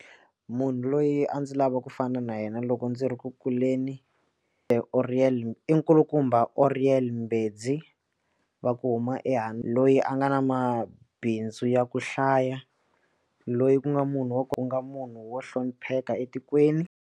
Munhu loyi a ndzi lava ku fana na yena loko ndzi ri ku kuleni Oriel i nkulukumba Oriel Mbedzi va ku huma ehandle loyi a nga na mabindzu ya ku hlaya loyi ku nga munhu wa ku nga munhu wo hlonipheka etikweni.